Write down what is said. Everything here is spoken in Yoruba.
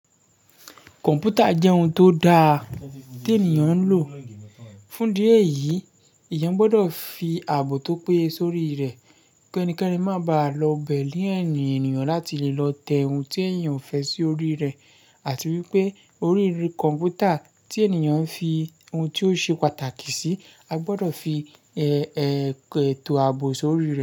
Kọ̀npútà jẹ́ ohun tó da tí ènìyàn ń lò. Fún díẹ̀ yìí, èèyàn gbọdọ̀ fi ààbò tó péye sórí rẹ̀ ki ẹnikẹ́ni má bàa lọ bẹ̀ ní ẹ̀yìn ènìyàn láti lè lọ tẹ ohun tí èèyàn ò fẹ́ sí orí rẹ̀ àti wípé orí kọ̀mpútà tí ènìyàn fi ohun tí ó ṣe pàtàkì sí, a gbọdọ̀ fi ètò ààbò sórí rẹ̀.